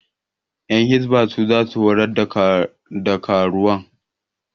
Ƴan hisba su za su horar da karuwan